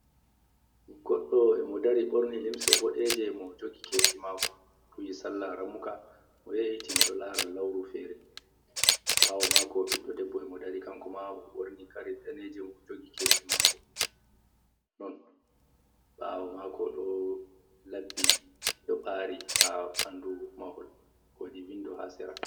Goɗɗo e mo dari ɓorni limse boɗeje mo jogi kesi mako, duwi salla ramuka, mo yewiti mo ɗo lara lauru fere ɓawo mako ɓiɗɗo debbo e mo dari kanko ma mo ɓorni kare daneje, mo jogi kesi mako, non ɓawo mako ɗo laɓɓi ɗiɗo bari ha ɓandu mahol wodi windo ha sera.